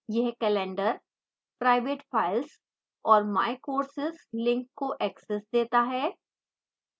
यह calendar private files और my courses links को access देता है